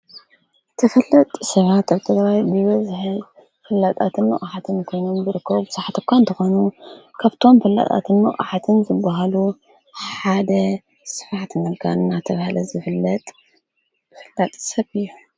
ትፈለጥ ሥባ ኣኣብተ ባይ ብበዘሀል ፍላጣትን ምቛኃትን ኮይኑም ብርክብ ሳሓተኳ እንተኾኑ ካብቶም ፍላጣትን ምእዋሓትን ዘብሃሉ ሓደ ስፋዕት ነልጋንና ተብሃለ ዘፍለጥ ፍላጥ ሰብ እዩ